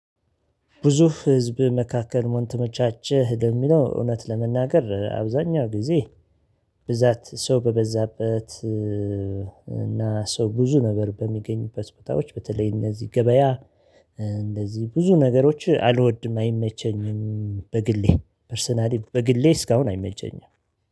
ብዙ ህዝብ መካከል ምን ተመቻቸህ ለሚለው እውነት ለመናገር አብዛኛው ጊዜ ብዛት ሰው በበዛበት እና ሰው ብዙ ነበር በሚገኙበት ቦታዎች በተለይ እነዚህ ገበያ እንደዚህ ብዙ ነገሮች አልወድም አይመቸኝም በግሌ ፐርሰናሊ በግሌ እስካሁን አይመቸኝም።